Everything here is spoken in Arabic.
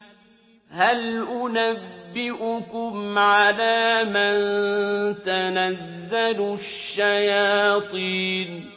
هَلْ أُنَبِّئُكُمْ عَلَىٰ مَن تَنَزَّلُ الشَّيَاطِينُ